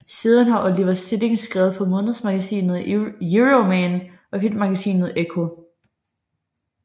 Siden har Oliver Stilling skrevet for månedsmagasinet Euroman og Filmmagasinet Ekko